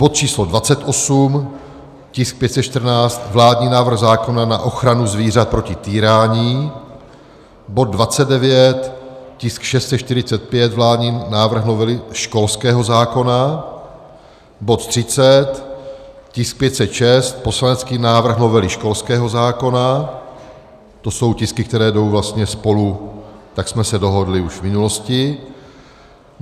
bod číslo 28, tisk 514 - vládní návrh zákona na ochranu zvířat proti týrání; bod 29, tisk 645 - vládní návrh novely školského zákona; bod 30, tisk 506 - poslanecký návrh novely školského zákona, to jsou tisky, které jdou vlastně spolu, tak jsme se dohodli už v minulosti.